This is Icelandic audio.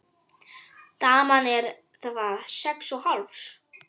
Daman er hvað. sex og hálfs?